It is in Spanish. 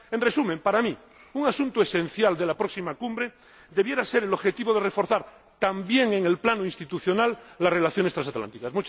En resumen, para mí, un asunto esencial de la próxima cumbre debería ser el objetivo de reforzar, también en el plano institucional, las relaciones transatlánticas.